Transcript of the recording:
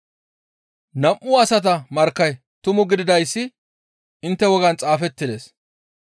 Nam7u asata markkay tumu gididayssi intte wogaan xaafettides.